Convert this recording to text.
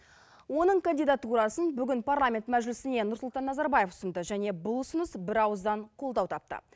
оның кандидатурасын бүгін парламент мәжілісіне нұрсұлтан назарбаев ұсынды және бұл ұсыныс бірауыздан қолдау тапты